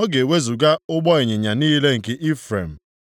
Ọ ga-ewezuga ụgbọ ịnyịnya niile nke Ifrem,